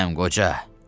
Mənəm qoca.